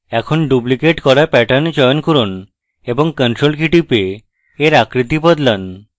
এখন ডুপ্লিকেট করা pattern চয়ন করুন এবং ctrl key টিপে এর আকৃতি বদলান